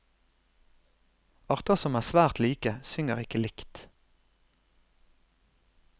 Arter som er svært like, synger ikke likt.